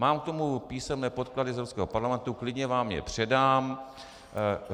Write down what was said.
Mám k tomu písemné podklady z Evropského parlamentu, klidně vám je předám.